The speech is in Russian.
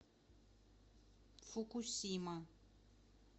фукусима